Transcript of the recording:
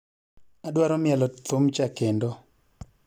Adwaro mielo thumcha kendo